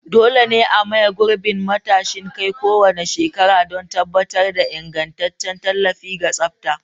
Dole ne a maye gurbin matashin kai kowane shekara don tabbatar da ingantaccen tallafi da tsafta.